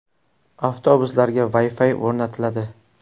Avtobuslarga Wi-Fi ham o‘rnatiladi.